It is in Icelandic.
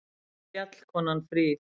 Fjallkonan fríð!